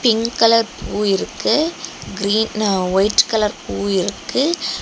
Pink colour பூ இருக்கு green white colour பூ இருக்கு.